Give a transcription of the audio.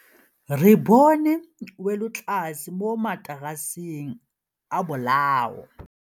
Re bone wêlôtlasê mo mataraseng a bolaô.